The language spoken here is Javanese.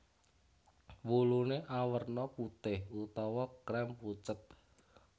Wuluné awerna putih utawa krem pucet